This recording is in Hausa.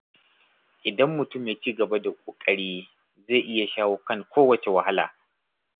Idan mutum ya ci gaba da ƙoƙari, zai iya shawo kan kowace wahala.